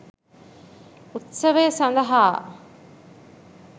උත්සවය සඳහා